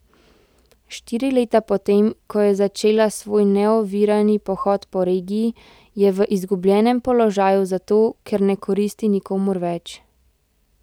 Štiri leta po tem, ko je začela svoj neovirani pohod po regiji, je v izgubljenem položaju zato, ker ne koristi nikomur več.